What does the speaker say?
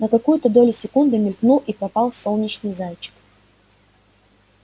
на какую-то долю секунды мелькнул и пропал солнечный зайчик